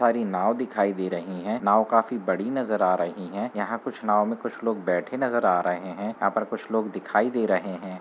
सारी नाव दिखाई दे रहीं हैं। नाव काफी बड़ी नजर आ रहीं है। यहाँ कुछ नाव में कुछ लोग बैठे नजर आ रहे हैं यहाँ पर कुछ लोग दिखाई दे रहे हैं।